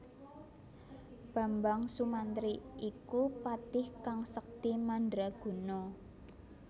Bambang Sumantri iku patih kang sekti mandra guna